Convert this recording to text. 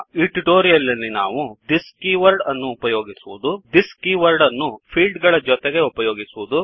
ಈ ಟ್ಯುಟೋರಿಯಲ್ ನಲ್ಲಿ ನಾವು ಥಿಸ್ ದಿಸ್ ಕೀವರ್ಡ್ -ಅನ್ನು ಉಪಯೋಗಿಸುವದು thisದಿಸ್ ಕೀವರ್ಡ್ ಅನ್ನು ಫೀಲ್ಡ್ ಫೀಲ್ಡ್ ಗಳ ಜೊತೆಗೆ ಉಪಯೋಗಿಸುವುದು